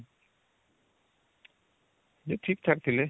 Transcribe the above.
ଯେ ଠିକଠାକ ଥିଲେ